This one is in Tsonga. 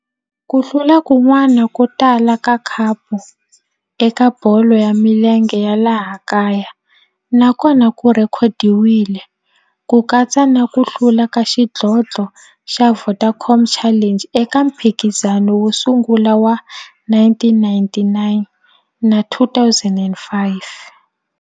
Ku hlula kun'wana ko tala ka khapu eka bolo ya milenge ya laha kaya na kona ku rhekhodiwile, ku katsa na ku hlula ka xidlodlo xa Vodacom Challenge eka mphikizano wo sungula wa 1999 na 2005.